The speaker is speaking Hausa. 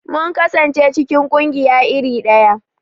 Mun kasance cikin ƙungiya iri daya.